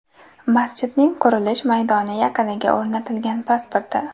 Masjidning qurilish maydoni yaqiniga o‘rnatilgan pasporti.